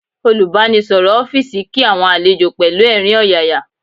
Olùbánisọ̀rọ̀ ọ́fíìsì kí àwọn àlejò pẹ̀lú ẹ̀rín ọ̀yàyà